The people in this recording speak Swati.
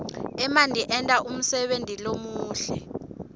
emanti enta umsebenti lomuhle